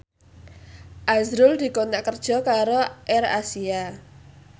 azrul dikontrak kerja karo AirAsia